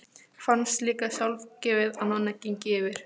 Fannst líka sjálfgefið að Nonni gengi fyrir.